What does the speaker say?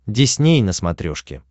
дисней на смотрешке